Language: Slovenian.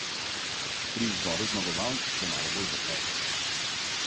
Pri izboru zmagovalk se malo bolj zaplete.